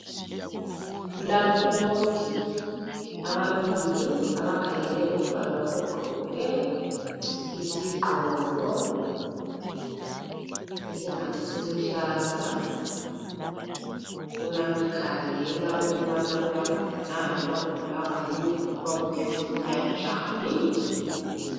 Kulabomongi ababili abakhangele umntwana ogqoke isigqoko esingathi siluhlaza. Uyamkhangela ukubana uyagula na loba ubulawa yini lokuba uphefumula njani.